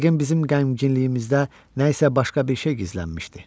Yəqin bizim qəmginliyimizdə nə isə başqa bir şey gizlənmişdi.